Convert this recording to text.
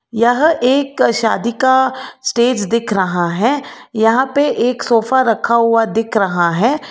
यह एक का शादी का स्टेज दिख रहा है यहां पे एक सोफा रखा हुआ दिख रहा है।